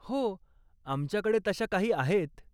हो, आमच्याकडे तशा काही आहेत.